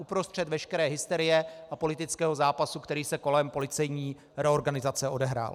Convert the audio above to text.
Uprostřed veškeré hysterie a politického zápasu, který se kolem policejní reorganizace odehrál.